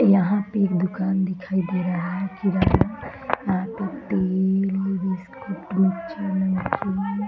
यहाँ पे एक दुकान दिखाई दे रहा है सीधा पे --